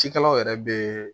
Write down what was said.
Cikɛlaw yɛrɛ be